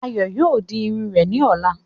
Ayọ̀ yóò di Irun rẹ̀ ni ọ̀la.